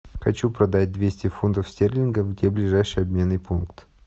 хочу продать двести фунтов стерлингов где ближайший обменный пункт